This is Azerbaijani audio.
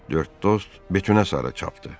Dörd dost Betunə sarı çapdı.